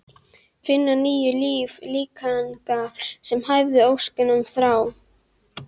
Finna nýju lífi líkingar sem hæfa óskum og þrám.